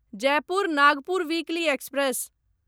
Jaipur Nagpur weekly express